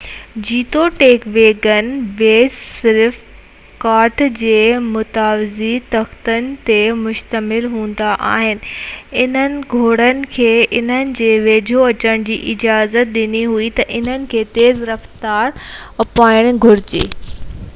جيتوڻيڪ wagon ways صرف ڪاٺ جي متوازي تختن تي مشتمل هوندا آهن انهن گهوڙن کي انهن جي ويجهو اچڻ جي اجازت ڏني هئي ته انهن کي تيز رفتار اپنائڻ گهرجي ۽ ڏينهن جي اڃان وڌيڪ خراب روڊن جي ڀيٽ ۾ وڏو لوڊ ڇڪڻو آهي